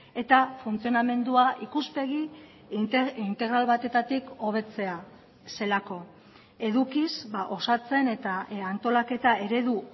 eta funtzionamendua ikuspegi integral batetatik hobetzea zelako edukiz osatzen eta antolaketa eredu